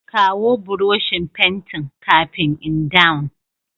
Kawo Buroshin fentin kafin in dawn.